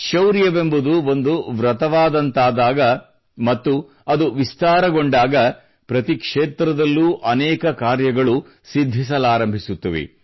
ಶೌರ್ಯವೆಂಬುದು ಒಂದು ವೃತವಾದಾಗ ಮತ್ತು ಅದು ವಿಸ್ತರಣೆಗೊಂಡಾಗ ಪ್ರತಿ ಕ್ಷೇತ್ರದಲ್ಲೂ ಅನೇಕ ಕಾರ್ಯಗಳು ಸಿದ್ಧಿಸಲಾರಂಭಿಸುತ್ತವೆ